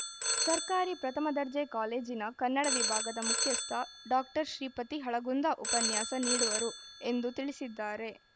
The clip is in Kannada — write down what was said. ಸರ್ಕಾರಿ ಪ್ರಥಮದರ್ಜೆ ಕಾಲೇಜಿನ ಕನ್ನಡ ವಿಭಾಗದ ಮುಖ್ಯಸ್ಥ ಡಾಕ್ಟರ್ ಶ್ರೀಪತಿ ಹಳಗುಂದ ಉಪನ್ಯಾಸ ನೀಡುವರು ಎಂದು ತಿಳಿಸಿದ್ದಾರೆ